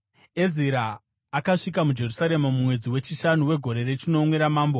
Ezira akasvika muJerusarema mumwedzi wechishanu wegore rechinomwe ramambo.